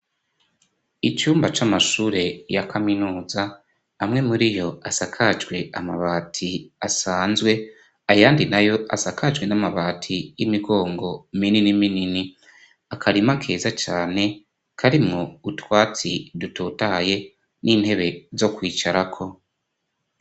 Icumba c'amashure ya kaminuza, amwe muri yo asakajwe amabati asanzwe, ayandi nayo asakajwe n'amabati y'imigongo minini minini. Akarima keza cane karimwo utwatsi dutotahaye n'intebe zo kwicara ko.